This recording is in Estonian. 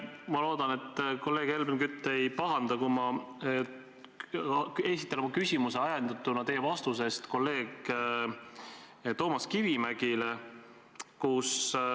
Ma loodan, et kolleeg Helmen Kütt ei pahanda, kui ma esitan oma küsimuse ajendatuna teie vastusest kolleeg Toomas Kivimägile.